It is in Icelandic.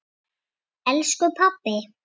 Elsku pabbi!